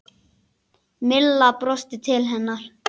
Milla brosti til hennar.